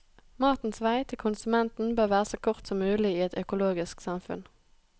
Matens vei til konsumenten bør være så kort som mulig i et økologisk samfunn.